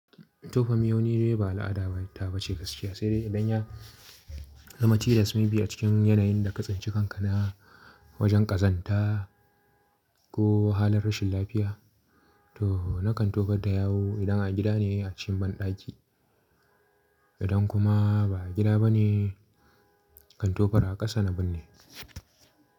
Tofa miyau ne, nidai ba al’ada da ta bace gaskiya, sai dai idan ya zama tilas may be a cikin yanayin da ka tsinci kanka na wajen kazanta ko halin rashin lafiya, to na kan tofar ta yawu idan a gida ne a cikin banɗaki. Idan kuma ba a gida ba ne, na kan tofar a ƙasa na binne.